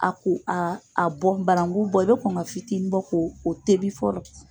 A ko a a bɔ banangu bɔ i bɛ kɔn ka fitini bɔ ko o tɛbi fɔlɔ.